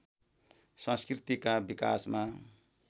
संस्कृतिका विकासमा